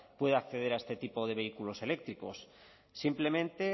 pueda acceder a este tipo de vehículos eléctricos simplemente